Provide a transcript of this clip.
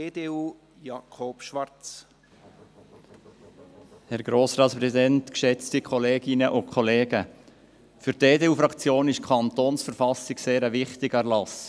Für die EDU-Fraktion ist die Kantonsverfassung ein sehr wichtiger Erlass.